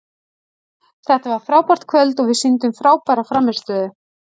Þetta var frábært kvöld og við sýndum frábæra frammistöðu.